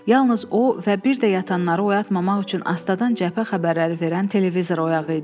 Yalnız o və bir də yatanları oyatmamaq üçün astadan cəbhə xəbərləri verən televizor oyağı idi.